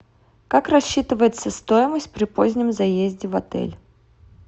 как рассчитывается стоимость при позднем заезде в отель